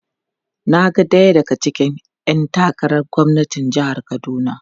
Na ga daya daga cikin ‘yan takarar gwamnan jihar Kaduna.